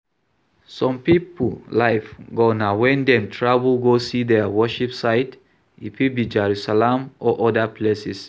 Some pipo life goal na when dem travel go see their worship site, e fit be Jerusalem or oda places